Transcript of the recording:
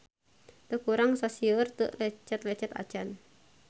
Teu kurang sasieur teu lecet-lecet acan.